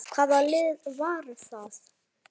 Hvaða lið var það?